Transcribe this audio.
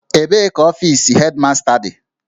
Ebee ka ọfis Hedmasta dị?